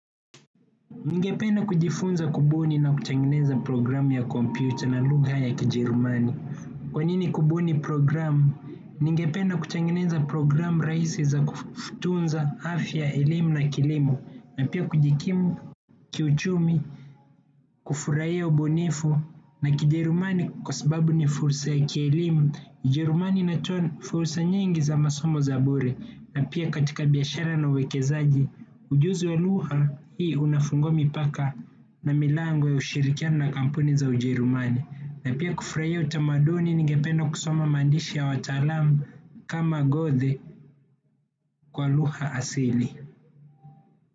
Ningependa kujifunza kubuni na kutengeneza programu ya computer na lugha ya Kijerumani. Kwa nini kubuni programu? Ningependa kutengeneza programu rahisi za kusaidia, afya elimu na kilimo. Na pia kujikimu kiuchumi, kufurahia ubunifu na Kijerumani kwa sababu ni fursa ya kielimu. Kijerumani kinatoa fursa nyingi za masomo za bure na pia katika biashara na uwekezaji. Ujuzi wa lugha hii unafungua mipaka na milango ya ushirikiano na kampuni za Ujerumani. Na pia kufurahia utamaduni, ningependa kusoma maandishi ya wataalamu kama Goethe kwa lugha asili.